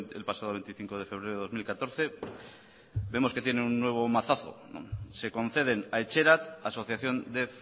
el pasado veinticinco de febrero de dos mil catorce vemos que tiene un número mazazo se conceden a etxerat asociación de